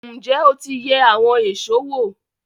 Ǹjẹ́ o ti yẹ àwọn èṣó wò?